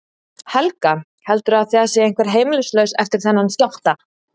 Helga: Heldurðu að það sé einhver heimilislaus eftir þennan skjálfta?